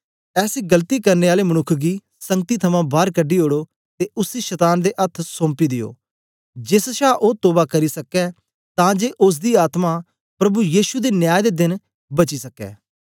ऐसे गलती करने आले मनुक्ख गी संगति थमां बार कढी ओड़ो ते उसी शतान दे अथ्थ सौंपी दियो जेस छा ओ तोवा करी सकै तां जे ओसदी आत्मा प्रभु यीशु दे न्याय दे देन बची सकै